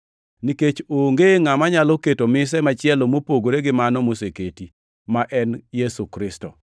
Nikech onge ngʼama nyalo keto mise machielo mopogore gi mano moseketi, ma en Yesu Kristo.